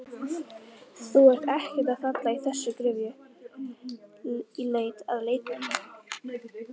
Þú ert ekkert að falla í þessa gryfju í leit að leikmönnum?